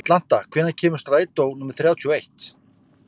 Atlanta, hvenær kemur strætó númer þrjátíu og eitt?